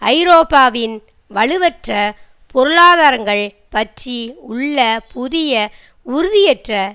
ஐரோப்பாவின் வலுவற்ற பொருளாதாரங்கள் பற்றி உள்ள புதிய உறுதியற்ற